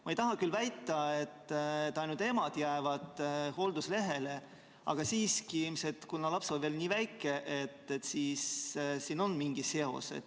Ma ei taha küll väita, et ainult emad jäävad hoolduslehele, aga siiski, kuna laps on veel nii väike, siis siin ilmselt on mingi seos.